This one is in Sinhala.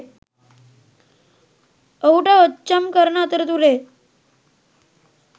ඔහුට ඔච්චම් කරන අතරතුරේ